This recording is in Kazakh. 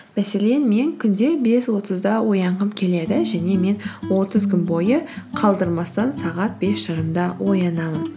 мәселен мен күнде бес отызда оянғым келеді және мен отыз күн бойы қалдырмастан сағат бес жарымда оянамын